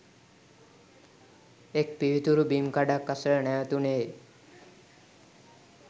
එක් පිවිතුරු බිම් කඩක් අසල නැවතුණේ ය.